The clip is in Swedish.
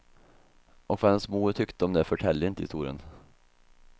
Och vad hennes mor tyckte om det förtäljer inte historien.